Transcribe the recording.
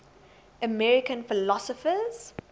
american philosophers